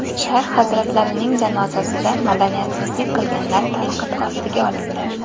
Shayx hazratlarining janozasida madaniyatsizlik qilganlar tanqid ostiga olindi.